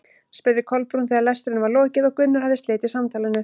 spurði Kolbrún þegar lestrinum var lokið og Gunnar hafði slitið samtalinu.